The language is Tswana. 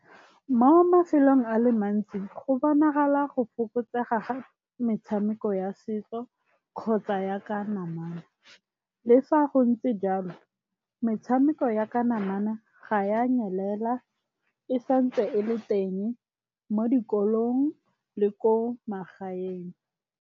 Mo mafelong a le mantsi go bonagala go fokotsega ga metshameko ya setso kgotsa ya ka namana. Le fa go ntse jang metshameko ya ka namana ga ya nyelela e santse e le teng mo dikolong le ko magaeng.